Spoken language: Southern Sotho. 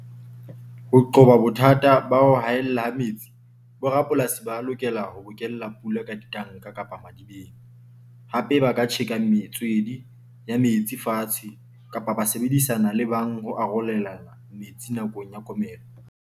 Ho qoba bothata ba ho haella ha metsi bo rapolasi, ba lokela ho bokella pula ka ditanka kapa madibeng, hape ba ka tjheka metswedi ya metsi fatshe kapa ba sebedisana le bang ho arolelana metsi nakong ya komello.